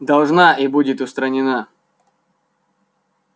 должна и будет устранена